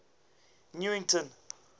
newington